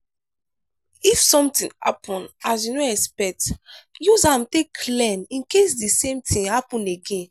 if something happen as you no expect use am take learn in case di same thing happen again